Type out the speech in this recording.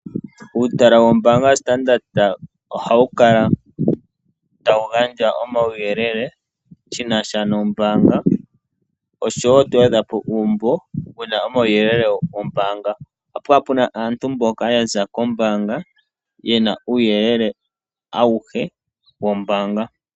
Uutala wombaanga yoStandard ohawu kala tawu gandja omauyelele shina sha nombaanga oshowo oto adha po uumbo wuna omauyelele gombaanga. Ohapu kala puna aantu mboka yaza kombaanga yena uuyelele awuhe wombaanga.